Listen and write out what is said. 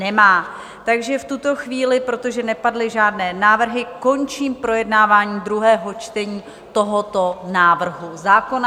Nemají, takže v tuto chvíli, protože nepadly žádné návrhy, končím projednávání druhého čtení tohoto návrhu zákona.